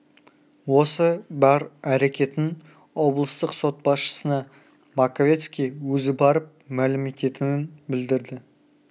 осы бар әрекетін облыстық сот басшысына маковецкий өзі барып мәлім ететінін білдірді